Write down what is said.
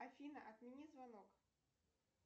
афина отмени звонок